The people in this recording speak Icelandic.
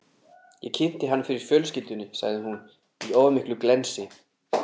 Ég kynnti hann fyrir fjölskyldunni, sagði hún, í of miklu glensi.